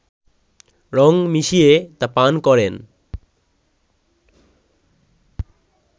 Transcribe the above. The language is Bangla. রঙ মিশিয়ে তা পান করেন